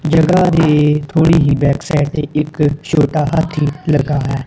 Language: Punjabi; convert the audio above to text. ਜਗਾ ਦੇ ਥੋੜੀ ਹੀ ਬੈਕ ਸਾਈਡ ਤੇ ਇੱਕ ਛੋਟਾ ਹਾਥੀ ਲਗਾ ਹੈ।